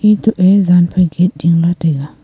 eto e jan phai gate ding la taiga.